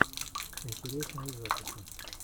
интересные записи